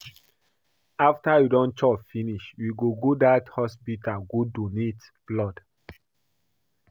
After you don chop finish we go go dat hospital go donate blood